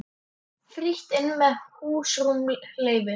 Frítt inn meðan húsrúm leyfir.